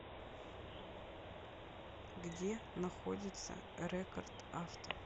где находится рекорд авто